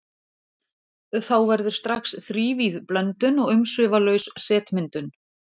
Þá verður strax þrívíð blöndun og umsvifalaus setmyndun.